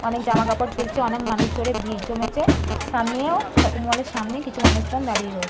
অনেক জামাকাপড় ঝুলছে অনেক মানুষজনের ভিড় জমেছে সামনেও শপিং মলের সামনে কিছু মানুষজন দাঁড়িয়ে রয়ে--